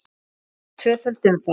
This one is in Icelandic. Leikin var tvöföld umferð.